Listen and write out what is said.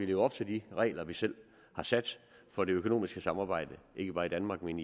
leve op til de regler vi selv har sat for det økonomiske samarbejde ikke bare i danmark men